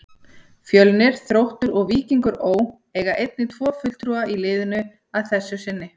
Fjölnir, Þróttur og Víkingur Ó. eiga einnig tvo fulltrúa í liðinu að þessu sinni.